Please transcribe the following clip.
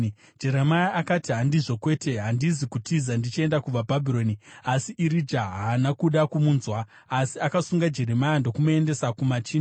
Jeremia akati, “Handizvo, kwete! Handizi kutiza ndichienda kuvaBhabhironi!” Asi Irija haana kuda kumunzwa; asi akasunga Jeremia ndokumuendesa kumachinda.